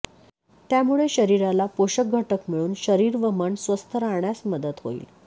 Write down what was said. त्यामुळे शरीराला पोषकघटक मिळून शरीर व मन स्वस्थ राहण्यास मदत होईल